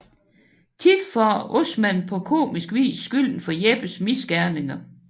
Tit får Osman på komisk vis skylden for Jeppes misgerninger